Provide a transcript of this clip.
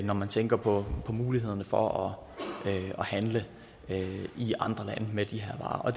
når man tænker på mulighederne for at handle i andre lande med de her varer og